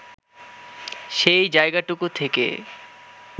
সেই জায়গাটুকু থেকে